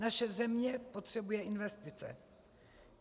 Naše země potřebuje investice.